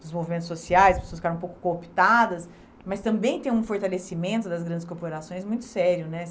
dos movimentos sociais, pessoas ficaram um pouco cooptadas, mas também tem um fortalecimento das grandes corporações muito sério, né?